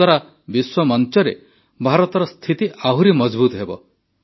ଏହାଦ୍ୱାରା ବିଶ୍ୱମଂଚରେ ଭାରତର ସ୍ଥିତି ଆହୁରି ମଜଭୁତ ହେବ